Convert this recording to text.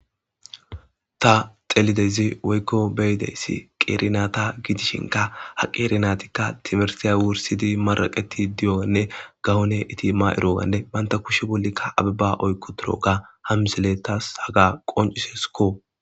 Tha xelidezi woykko beyideyssi qeerinata gidishinka ha qeernatikka tibersiya wursidi maraqeti diyonne gawone iti ma7iroganne banta kushe bollikka abibba oykko turo ga hamseletas haga qonciseskko.